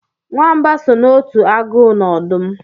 Nwamba so n'otu agụ na ọdụm